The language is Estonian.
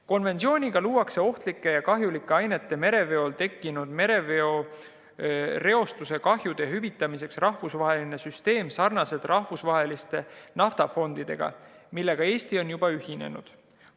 Konventsiooniga luuakse ohtlike ja kahjulike ainete mereveol tekkinud mereveereostuse kahjude hüvitamiseks rahvusvaheline süsteem sarnaselt rahvusvaheliste naftafondidega, millega Eesti on juba ühinenud.